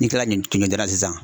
Ni kila nin sisan